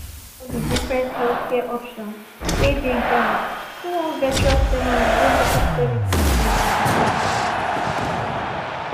im learn about di different healthcare options wey dey ground through one virtual seminar wey local services bin organize.